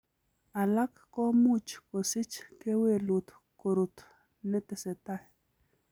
Alak komuch kosich kewelut korut netesetai .